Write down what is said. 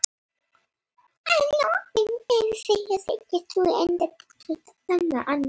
Þeir vilja ekki ganga í Evrópusambandið